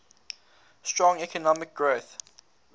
strong economic growth